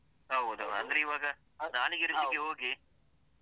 ಹೌದೌದು ಅಂದ್ರೆ ಇವಾಗ ನಾಲಿಗೆ ರುಚಿಗೆ ಹೋಗಿ.